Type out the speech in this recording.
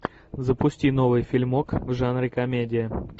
запусти новый фильмок в жанре комедия